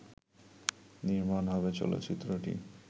নির্মাণ হবে চলচ্চিত্রটি